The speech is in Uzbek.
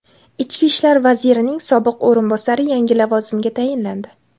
Ichki ishlar vazirining sobiq o‘rinbosari yangi lavozimga tayinlandi.